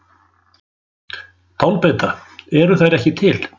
Tálbeita: Eru þær ekki til?